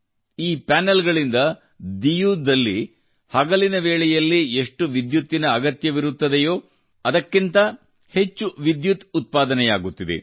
ಈ ಪ್ಯಾನೆಲ್ ಗಳಿಂದ ಡಿಯುನಲ್ಲಿ ಹಗಲಿನ ವೇಳೆಯಲ್ಲಿ ಎಷ್ಟು ವಿದ್ಯುತ್ತಿನ ಅಗತ್ಯವಿರುತ್ತದೆಯೋ ಅದಕ್ಕಿಂತ ಹಚ್ಚು ವಿದ್ಯುತ್ ಉತ್ಪಾದನೆಯಾಗುತ್ತಿದೆ